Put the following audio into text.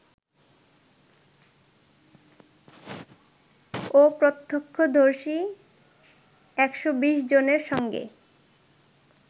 ও প্রত্যক্ষদর্শী ১২০ জনের সঙ্গে